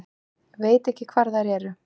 Veit ekki hvar þær eru